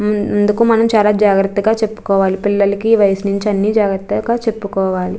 అందుకు మనం చాలా జాగ్రత్తగా చెప్పుకోవాలి పిల్లలకి ఈ వయసు నుంచి అన్ని జాగ్రత్తగా చెప్పుకోవాలి.